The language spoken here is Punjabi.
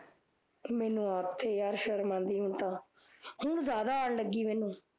ਮੈਨੂੰ ਆਪ ਤੇ ਯਰ ਸ਼ਰਮ ਆਉਂਦੀ ਹੁਣ ਤਾਂ, ਹੁਣ ਜਿਆਦਾ ਆਉਣ ਲੱਗੀ ਮੈਨੂੰ